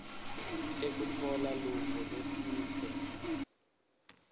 tekutfola luvo lwesive